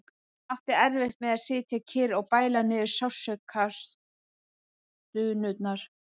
Hún átti erfitt með að sitja kyrr og bæla niður sársaukastunurnar.